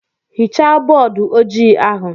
Hichaa bọọdụ ojii ahu!